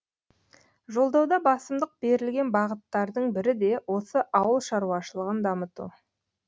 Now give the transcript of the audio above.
жолдауда басымдық берілген бағыттардың бірі де осы ауыл шаруашылығын дамыту